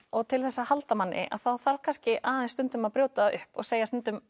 og til þess að halda manni þarf kannski aðeins stundum að brjóta upp og segja stundum